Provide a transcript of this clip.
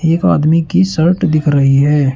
एक आदमी की शर्ट दिख रही है।